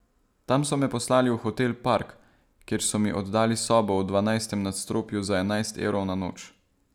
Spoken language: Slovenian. Tam so me poslali v hotel Park, kjer so mi oddali sobo v dvanajstem nadstropju za enajst evrov na noč.